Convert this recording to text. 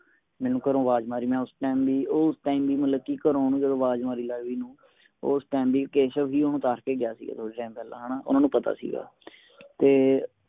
ਮੇਨੂ ਘਰੋਂ ਅਵਾਜ ਮਾਰੀ ਮੈ ਉਸ time ਵੀ ਉਸ time ਵੀ ਮਤਲਬ ਕਿ ਘਰੋਂ ਅਵਾਜ ਮਾਰੀ ਲੈ ਭੀ ਏਨੂੰ ਉਸ time ਵੀ ਕੇਸ਼ਵ ਭੀ ਉਣੋ ਦਸ ਕੇ ਗਯਾ ਸੀ ਕੁਛ time ਪਹਿਲਾ ਊਨਾ ਨੂੰ ਪਤਾ ਸੀ ਗਾ ਤੇ